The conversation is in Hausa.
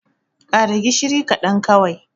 ƙara gishiri kaɗan kawai!